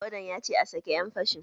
Wadan ya ce "A sake ƴan fashin"!